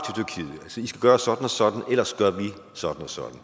sige gøre sådan og sådan ellers gør vi sådan og sådan